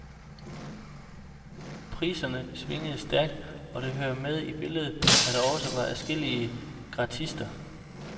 Priserne svingede stærkt, og det hører med i billedet, at der også var adskillige gratister.